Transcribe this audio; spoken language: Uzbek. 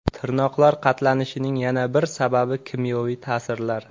Tirnoqlar qatlanishining yana bir sababi – kimyoviy ta’sirlar.